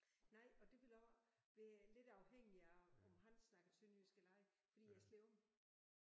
Nej og det ville også være lidt afhængig af om han snakker sønderjysk eller ej fordi jeg slår om